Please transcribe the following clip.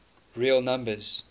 real numbers